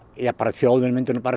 þjóðin mundi nú